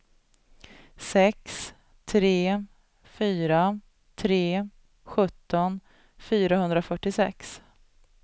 sex tre fyra tre sjutton fyrahundrafyrtiosex